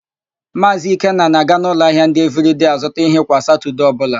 Maazị Ikenna na-aga n'ụlọahịa ndị Evịrịdei azụta íhé kwa Satọdee ọbụla.